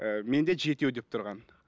ыыы мен де жетеу деп тұрған